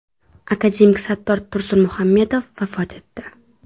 Akademik Sattor Tursunmuhammedov vafot etdi.